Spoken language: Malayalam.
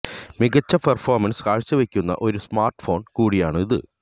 മികച്ച പെർഫോമൻസ് കാഴ്ചവെക്കുന്ന ഒരു സ്മാർട്ട് ഫോൺ കൂടിയാണ് ഇത്